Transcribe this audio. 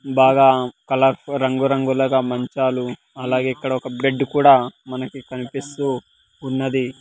బాగా కలర్ రంగు రంగులగా మంచాలు అలాగే ఇక్కడ ఒక బెడ్ కూడా మనకి కనిపిస్తూ ఉన్నది.